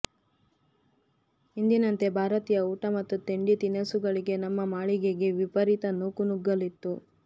ಎಂದಿನಂತೆ ಭಾರತೀಯ ಊಟ ಮತ್ತು ತಿಂಡಿ ತಿನಿಸುಗಳಿಗೆ ನಮ್ಮ ಮಳಿಗೆಗೆ ವಿಪರೀತ ನೂಕುನುಗ್ಗಲು ಇತ್ತು